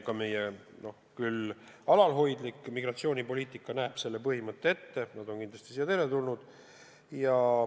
Ka meie alalhoidlik migratsioonipoliitika näeb ette põhimõtte, et nad on kindlasti siia teretulnud.